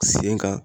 Sen kan